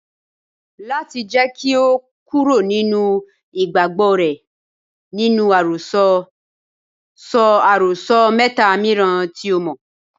Láti jẹ́ kí o kúrò nínú ìgbàgbọ́ rẹ nínú àròsọ, sọ àròsọ mẹ́ta mìíràn tí o mọ̀.